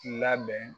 Labɛn